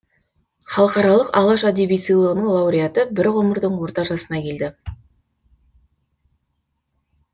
халықаралық алаш әдеби сыйлығының лауреаты бір ғұмырдың орта жасына келді